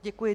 Děkuji.